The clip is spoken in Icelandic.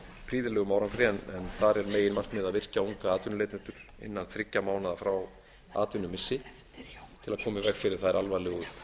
prýðilegum árangri en þar er meginmarkmið að virkja unga atvinnuleitendur innan þriggja mánaða frá atvinnumissi til að koma í veg fyrir þær alvarlegu